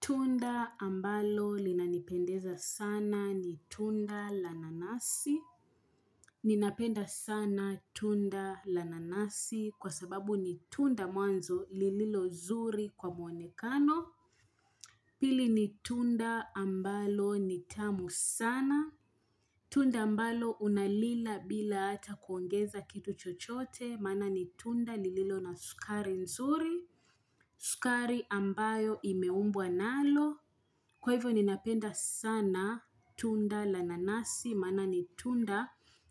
Tunda ambalo linanipendeza sana ni tunda la nanasi. Ninapenda sana tunda la nanasi kwa sababu ni tunda mwanzo lililo nzuri kwa mwonekano. Pili ni tunda ambalo ni tamu sana. Tunda ambalo unalila bila ata kuongeza kitu chochote maana ni tunda lililo na sukari nzuri. Sukari ambayo imeumbwa nalo. Kwa hivyo ninapenda sana tunda la nanasi, maana ni tunda